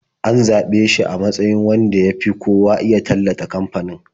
An yi zaɓe shi a matsayin wanda ya fi kowa iya tallata kamfanin.